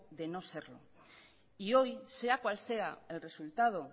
de no serlo y hoy sea cual sea el resultado